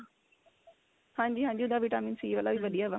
ਹਾਂਜੀ ਹਾਂਜੀ ਉਹਦਾ vitamin c ਵਾਲਾ ਵੀ ਵਧੀਆ ਵਾ